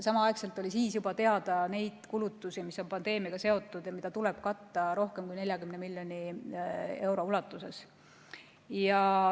Samal ajal olid siis juba teada need kulutused, mis on pandeemiaga seotud ja mida tuleb katta, rohkem kui 40 miljoni euro ulatuses.